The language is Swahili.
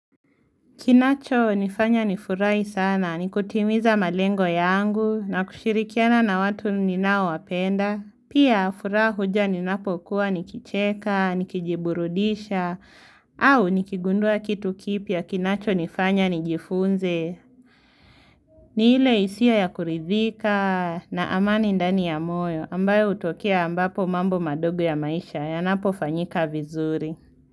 Kinachonifanya nifurahi sana, ni kutimiza malengo yangu na kushirikiana na watu ninaowapenda. Pia furaha huja ninapokuwa nikicheka, nikijiburudisha, au nikigundua kitu kipya kinachonifanya nijifunze. Ni ile hisia ya kuridhika na amani ndani ya moyo ambayo hutokea ambapo mambo madogo ya maisha yanapofanyika vizuri.